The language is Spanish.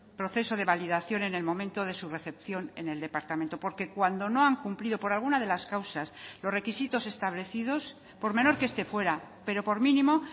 proceso de validación en el momento de su recepción en el departamento porque cuando no han cumplido por alguna de las causas los requisitos establecidos por menor que este fuera pero por mínimo